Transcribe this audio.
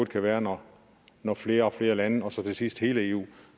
kan være når flere og flere lande og så til sidst hele eu